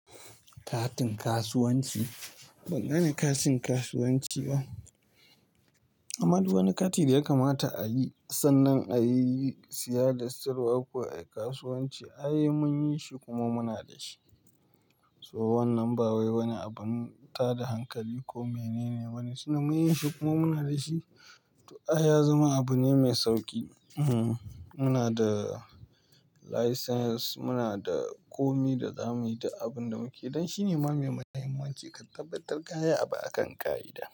Katin kasuwanci, ban gane katin kasuwanci ba. Amma duk wani kati da ya kamata a yi sannan a yi siya da siyarwa a kasuwanci, ai mun yi shi kuma muna da shi. To wannan ba wai wani abun ta da hankali ko mene ne wane sunan shi mun yin shi kuma muna da shi. To ai ya zama abu ne mai sauƙi. Ehem, muna da license, muna da komi da zamu yi duk abin da muke don shine ma mai muhimmanci ka tabbatar kaya abu akan ƙa'ida.